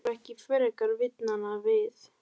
Það þarf ekki frekar vitnanna við.